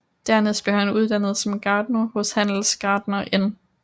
Dernæst blev han uddannet som gartner hos handelsgartner N